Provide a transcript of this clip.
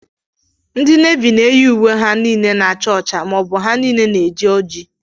Ndị Navi na-eyi ùwé ha niile na-acha ọcha maọbu ha niile na-eji oji.